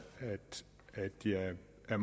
at